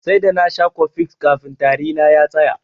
Sai da nasha cofex kafin tari na ya tsaya.